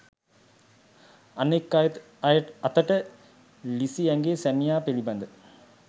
අනෙක් අතට ලිසී ඇගේ සැමියා පිලිබද